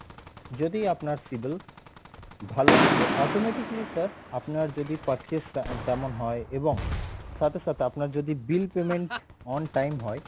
যদি আপনার civil ভালো থাকে automatically sir আপনার যদি purchase আহ তেমন হয় এবং সাথে সাথে আপনার যদি bill payment on time হয়